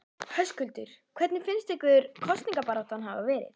Höskuldur: Hvernig finnst ykkur kosningabaráttan hafa verið?